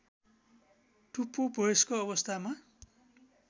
टुप्पो वयस्क अवस्थामा